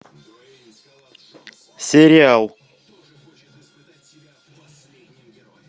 сериал